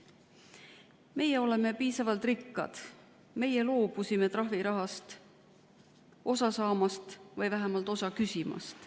Meie oleme piisavalt rikkad, meie loobusime trahvirahast osa saamast või vähemalt osa küsimast.